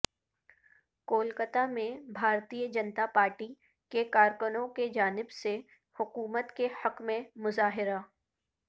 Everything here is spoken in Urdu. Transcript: کولکتہ میں بھارتیہ جنتا پارٹی کے کارکنوں کی جانب سے حکومت کے حق میں مظاہرہ